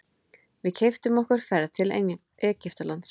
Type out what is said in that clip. Við keyptum okkur ferð til Egyptalands.